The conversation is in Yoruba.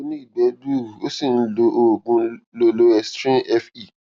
ó ní ìgbẹ gbuuru ó sì ń lo oògùn lo loestrin fe